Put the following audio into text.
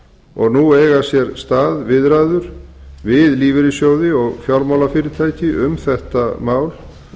og nú eiga sér stað viðræður við lífeyrissjóði og fjármálafyrirtæki um þetta mál